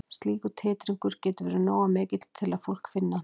Slíkur titringur getur verið nógu mikill til að fólk finni hann.